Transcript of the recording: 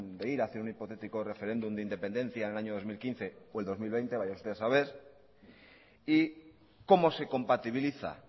de ir hacia un hipotético referéndum de independencia en el año dos mil quince o el dos mil veinte vaya usted ha saber y cómo se compatibiliza